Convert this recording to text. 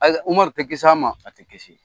Ayi da Umaru tɛ kisi an ma a tɛ kisi